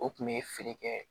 O kun bɛ feere kɛ